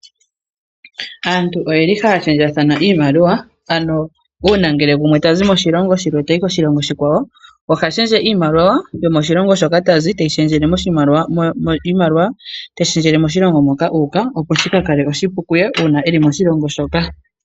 Aantu oyeli haa shendjathana iimaliwa, ano uuna ngele gumwe tazi moshilongo shilwe tayi koshilongo shikwawo, ohashendje iimaliwa yomoshilongo shoka tazi teyi shendjele moshimaliwa, iimaliwa teyi shendjele moshilongo moka uuka opo shika kale oshipu kuye uuna eli moshilongo shoka.